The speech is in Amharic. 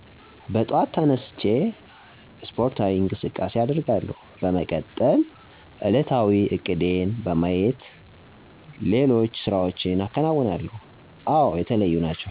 በጠዋት ተነስቸ አስፖርታዊ እቅሳቃሴ አደርጋለሁ፣ በመቀጠል ዕለታዊ እቅዴን በማየት ሌሎች ስራዎችን አከነውናለሁ፤ አወ የተለዩ ናቸው።